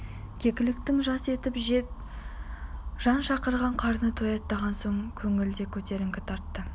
кекіліктің жас етін жеп жан шақырып қарны тояттаған соң көңіл де көтеріңкі тартты